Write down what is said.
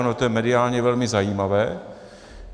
Ono to je mediálně velmi zajímavé.